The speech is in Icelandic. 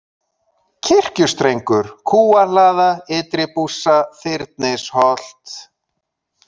Kirkjustrengur, Kúahlaða, Ytri-Bússa, Þyrnisholt